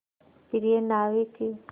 प्रिय नाविक